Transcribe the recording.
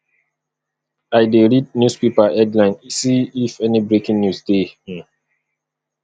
i dey read newspaper headline see if any breaking news dey um